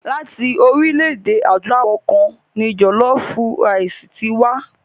Láti orílẹ̀-èdè Adúláwọ̀ kan ni jọ̀lọfú raìsì ti wá.